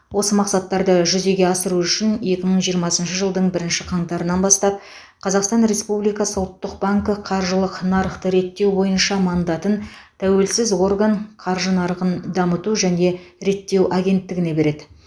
осы мақсаттарды жүзеге асыру үшін екі мың жиырмасыншы жылдың бірінші қаңтарынан бастап қазақстан республикасы ұлттық банкі қаржылық нарықты реттеу бойынша мандатын тәуелсіз орган қаржы нарығын дамыту және реттеу агенттігіне береді